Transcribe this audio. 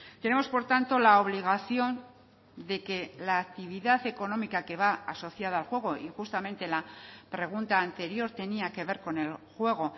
tenemos por tanto la obligación de que la actividad económica que va asociada al juego y justamente la pregunta anterior tenía que ver con el juego